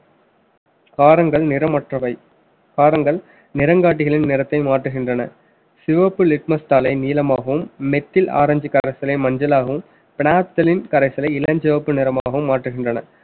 காரங்கள் நிறமற்றவை காரங்கள் நிறங்காட்டிகளின் நிறத்தை மாற்றுகின்றன சிவப்பு litmas தாளை நீலமாகவும் methyl ஆரஞ்சு கரைசலை மஞ்சளாகவும் phenolphthalein கரைசலை இளஞ்சிவப்பு நிறமாகவும் மாற்றுகின்றன